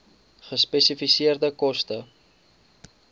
gespesifiseerde koste